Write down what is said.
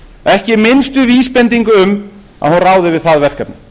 ekki minnstu vísbendingu um að hún ráði við það verkefni